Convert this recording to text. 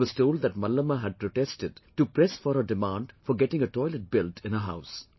He was told that Mallamma had protested to press for her demand for getting a toilet built in her house